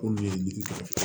K'olu ye ye